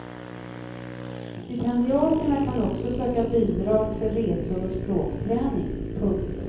Stipendiaterna kan också söka bidrag för resor och språkträning. punkt